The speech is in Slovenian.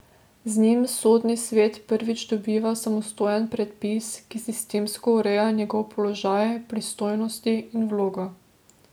Z njim sodni svet prvič dobiva samostojen predpis, ki sistemsko ureja njegov položaj, pristojnosti in vlogo.